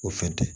O fɛn tɛ